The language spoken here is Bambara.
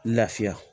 Lafiya